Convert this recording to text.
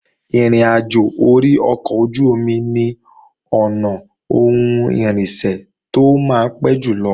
Ìrìnàjò orí ọkọ̀ ojú-omi ni ọ̀nà ohun irinṣẹ́ tó máa ń pé jùlọ